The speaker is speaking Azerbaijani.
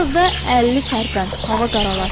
Biraz da əlli tərpən, hava qaralar.